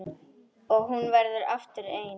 Og hún verður aftur ein.